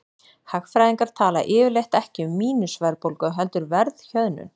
Hagfræðingar tala yfirleitt ekki um mínus-verðbólgu heldur verðhjöðnun.